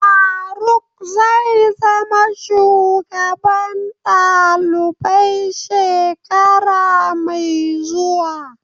Faruk zai zama shugaban dalibai shekara mai zuwa.